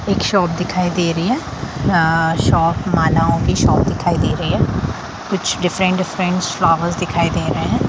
एक शॉप दिखाई दे रही है अ शॉप मालाओं की शॉप दिखाई दे रही है कुछ डिफ्रेंट - डिफ्रेंट फ्लावर्स दिखाई दे रहें हैं।